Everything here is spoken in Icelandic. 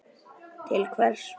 Til hvers?